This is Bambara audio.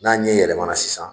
N'a ɲɛ yɛlɛmana sisan